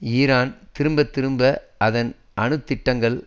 Iran திரும்ப திரும்ப அதன் அணு திட்டங்கள்